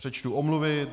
Přečtu omluvy.